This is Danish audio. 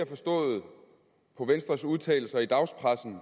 forstået på venstres udtalelser i dagspressen